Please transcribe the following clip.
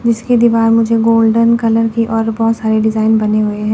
जिसकी दीवार मुझे गोल्डन कलर की और बहोत सारे डिजाइन बने हुए हैं।